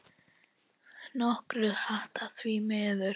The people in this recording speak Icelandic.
Nokkuð hratt, því miður.